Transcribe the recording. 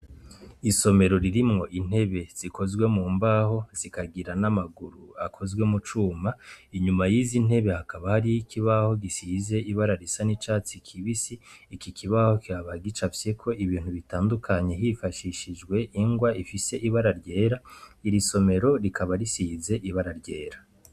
Isomero ririmwo intebe zikozwe mu mbaho, zikagira na maguru akozwe mu cuma. Inyuma y’izi ntebe, hakaba hari ikibaho gisize ibara risa n’icatsi kibisi. Iki kibaho kikaba gicafyeko ibintu bitandukanye, hifashishijwe igwa ifise ibara ryera. Iri somero rikaba risize ibara ryera.